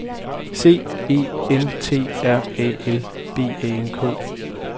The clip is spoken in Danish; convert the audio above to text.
C E N T R A L B A N K